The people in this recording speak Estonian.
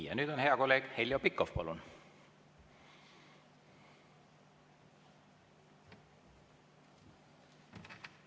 Ja nüüd hea kolleeg Heljo Pikhof, palun!